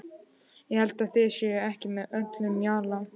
Ég held að þið séuð ekki með öllum mjalla!